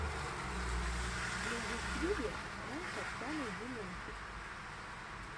на ютьюбе пранк оксана демянчук